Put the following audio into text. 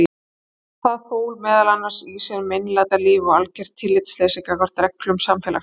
Það fól meðal annars í sér meinlætalíf og algert tillitsleysi gagnvart reglum samfélagsins.